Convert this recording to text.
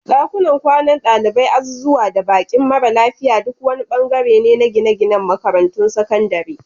Dakunan kwanan dalibai, azuzuwa, da bakin mara lafiya duk wani bangare ne na gine-ginen makarantun sakandare.